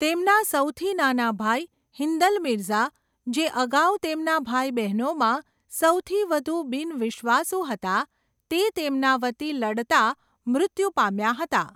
તેમના સૌથી નાના ભાઈ, હિન્દલ મિર્ઝા, જે અગાઉ તેમના ભાઈ બહેનોમાં સૌથી વધુ બિન વિશ્વાસુ હતા, તે તેમના વતી લડતા મૃત્યુ પામ્યા હતા.